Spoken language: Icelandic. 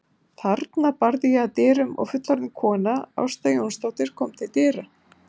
Þarna barði ég að dyrum og fullorðin kona, Ásta Jónsdóttir, kom til dyra.